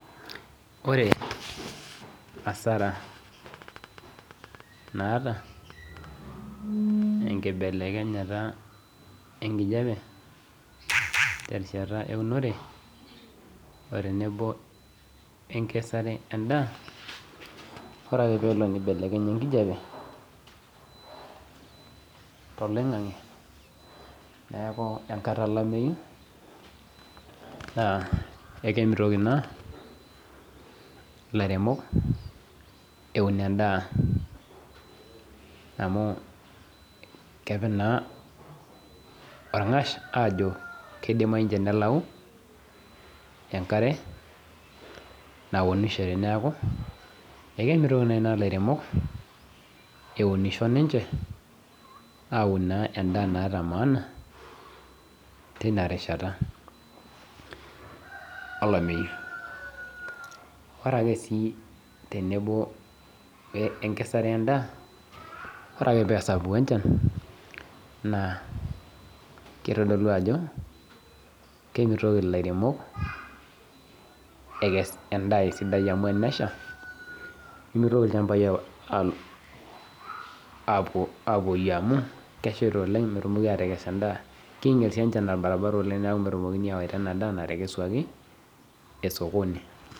Ore asara naata enkibelekenyata enkijape terishata eunore otenebo enkesare na ore ake pelo nibelekenya enkijape neaku enkata ekimitoki ina lairemok eun endaa amu kepi na orngash ajo kidimayu nelau enkare neaku ekintoki naa ina laremok eunisho ninche aun endaa emaana tinarishata olameyu ore ake si tenebo enkesare endaa ore ake pesapuku enchan nakitadolu ajobkemiri lairemok endaa sidai nimitoki lchambu apoyie amu keshaita oleng na kinya s enchan amu netumokini aywa enadaa nasotuni.